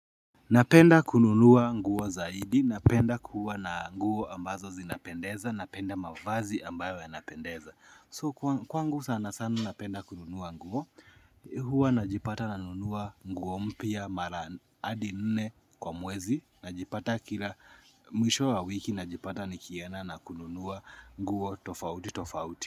Napenda kununua nguo zaidi, napenda kuwa na nguo ambazo zinapendeza, napenda mavazi ambayo yanapendeza. So kwangu sana sana napenda kununua nguo, huwa najipata nanunua nguo mpya mara adi nne kwa mwezi, najipata kila mwisho wa wiki najipata nikienda na kununua nguo tofauti tofauti.